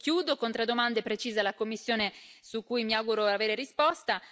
Chiudo con tre domande precise alla Commissione su cui mi auguro di avere risposta.